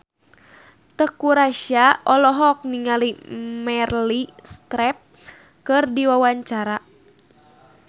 Teuku Rassya olohok ningali Meryl Streep keur diwawancara